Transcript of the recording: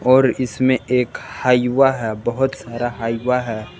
और इसमें एक हाइवा है बहुत सारा हाइवा है।